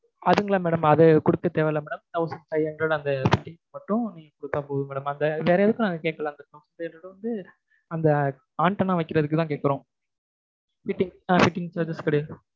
அதுங்களா madam அது குடுக்க தேவை இல்லை madam thousand five hundred அந்த மட்டும் குடுத்தா போதும் madam அந்த வேற எதுக்கும் இது வந்துஅந்த antenna வைக்கிறதுக்குதான் கேக்கிறோம் fitting~ fittings லாம் கிடையாது